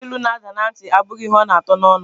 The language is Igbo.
Ihe akilu n'ada na ntị, abụghị ihe ọ na atọ n'ọnụ.